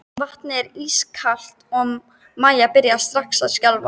Vatnið var ískalt og Maja byrjaði strax að skjálfa.